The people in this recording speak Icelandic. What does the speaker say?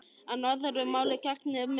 En öðru máli gegnir með barnið.